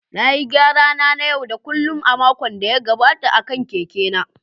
Na yi gyara na na yau da kullun a makon da ya gabata akan keke na